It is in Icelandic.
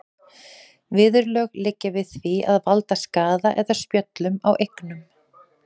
Viðurlög liggja við því að valda skaða eða spjöllum á eignum.